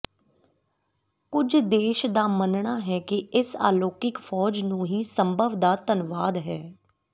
ਕੁਝ ਦੇਸ਼ ਦਾ ਮੰਨਣਾ ਹੈ ਕਿ ਇਸ ਅਲੌਕਿਕ ਫ਼ੌਜ ਨੂੰ ਹੀ ਸੰਭਵ ਦਾ ਧੰਨਵਾਦ ਹੈ